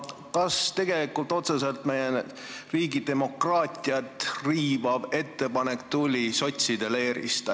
Kas see otseselt me riigi demokraatiat riivav ettepanek tuli sotside leerist?